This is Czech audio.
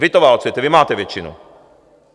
Vy to válcujete, vy máte většinu.